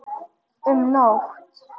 Um nótt